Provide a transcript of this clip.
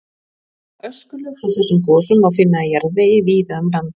Öskulög frá þessum gosum má finna í jarðvegi víða um land.